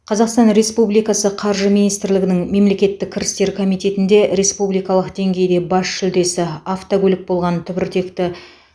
қазақстан республикасы қаржы министрлігінің мемлекеттік кірістер комитетінде республикалық деңгейде бас жүлдесі автокөлік болған түбіртекті